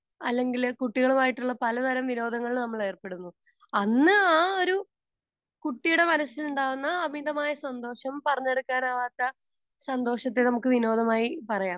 Speaker 2 അല്ലെങ്കിൽ കുട്ടികളുമായിട്ടുള്ള പലതരം വിനോദങ്ങളിൽ നമ്മൾ ഏർപ്പെടുന്നു. അന്ന് ആ ഒരു കുട്ടിയുടെ മനസ്സിലുണ്ടാകുന്ന അമിതമായ സന്തോഷം പറഞ്ഞറിയിക്കാനാവാത്ത സന്തോഷത്തെ നമുക്ക് വിനോദമായി പറയാം.